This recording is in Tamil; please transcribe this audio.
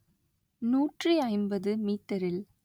நூற்றி ஐம்பது மீட்டரில்